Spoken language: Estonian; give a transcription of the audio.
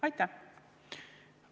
Aitäh!